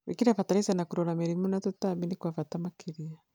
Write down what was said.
Gwĩkĩra bataraiza na kũrora mĩrimũ na tũtambi nĩ kwa bata makĩria.